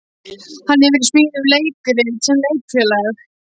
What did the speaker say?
Hann hefur í smíðum leikrit sem Leikfélag